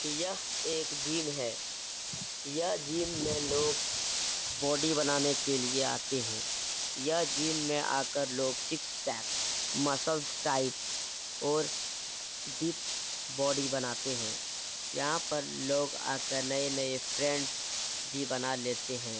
यह एक जिम है यह जिम में लोग बॉडी बनाने के लिए आते हैं यह जिम में आकर लोग सिक्स पैक मसल्स टाइट और डिप्स बॉडी बनाते हैं यहाँ पर लोग आकर नए-नए फ्रेंड्स भी बना लेते हैं |